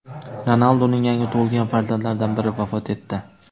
Ronalduning yangi tug‘ilgan farzandlaridan biri vafot etdi.